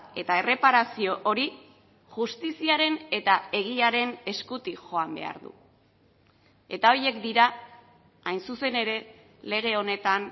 eta erreparazio hori justiziaren eta egiaren eskutik joan behar du eta horiek dira hain zuzen ere lege honetan